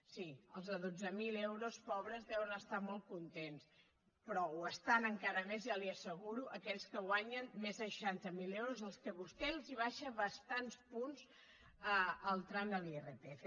sí els de dotze mil euros pobres deuen estar molt contents però ho estan encara més ja li ho asseguro aquells que guanyen més de seixanta miler euros als quals vostè els abaixa bastants punts el tram de l’irpf